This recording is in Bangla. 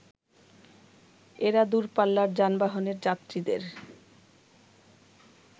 এরা দূরপাল্লার যানবাহনের যাত্রীদের